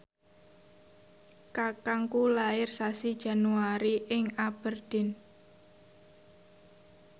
kakangku lair sasi Januari ing Aberdeen